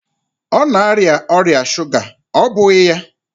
Ọ na-arịa ọrịa shuga, ọ́ bụghị ya?